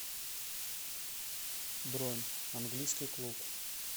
бронь английский клуб